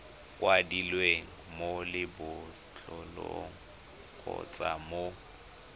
kwadilweng mo lebotlolong kgotsa mo